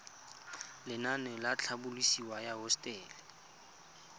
lenaane la tlhabololosewa ya hosetele